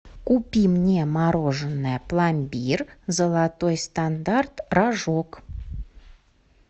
купи мне мороженое пломбир золотой стандарт рожок